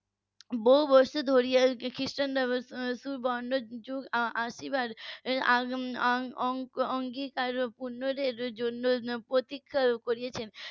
বহু বছর ধরে খ্রিস্টানরা সুবর্ণ যুগ আসার আং অং উম অঙ্গীকার পূর্ণ প্রতীক্ষা করেছেন